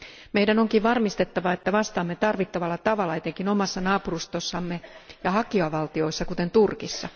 Meidän onkin varmistettava, että vastaamme tarvittavalla tavalla etenkin omassa naapurustossamme ja hakijavaltioissa, kuten Turkissa.